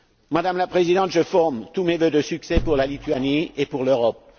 Madame la Présidente, je forme tous mes vœux de succès pour la Lituanie et pour l'Europe.